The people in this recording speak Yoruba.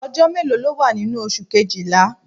Ọjọ́ mélòó ló wà nínú oṣù Kejìlá?